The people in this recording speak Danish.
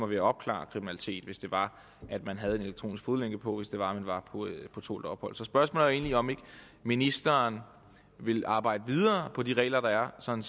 ved at opklare kriminalitet hvis det var at man havde elektronisk fodlænke på hvis det var man var på tålt ophold så spørgsmålet er egentlig om ikke ministeren vil arbejde videre på de regler der er sådan